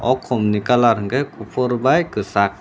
o kom ni colour hingke kopor bai kisag.